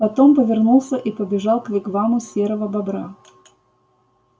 потом повернулся и побежал к вигваму серого бобра